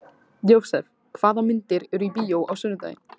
Jósep, hvaða myndir eru í bíó á sunnudaginn?